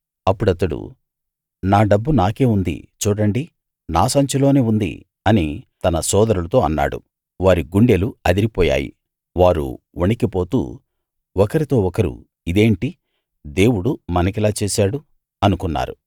అప్పుడతడు నా డబ్బు నాకే ఉంది చూడండి నా సంచిలోనే ఉంది అని తన సోదరులతో అన్నాడు వారి గుండెలు అదిరిపోయాయి వారు వణికిపోతూ ఒకరితో ఒకరు ఇదేంటి దేవుడు మనకిలా చేశాడు అనుకున్నారు